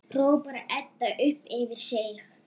hrópar Edda upp yfir sig.